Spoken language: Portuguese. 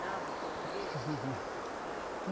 o português? Não.